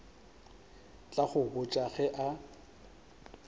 tla go botša ge a